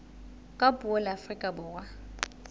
ka puo la afrika borwa